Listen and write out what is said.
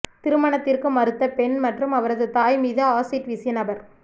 திருமணத்திற்கு மறுத்த பெண் மற்றும் அவரது தாய் மீது அசீட் வீசிய நபர்